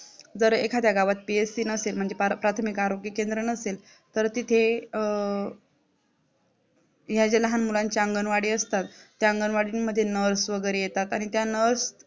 जर एखाद्या गावात PSC नसेल म्हणजे प्राथमिक आरोग्य केंद्र नसेल तर तिथे अ ह्या लहान मुलांच्या अंगणवाडी असतात त्या अंगणवाडींमध्ये Nurse वगरे येतात आणि त्या Nurse